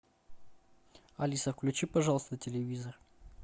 алиса включи пожалуйста телевизор